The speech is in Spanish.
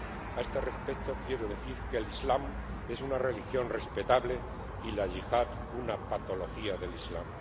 A este respecto, quiero decir que el Islam es una religión respetable y la Yihad una patología del Islam.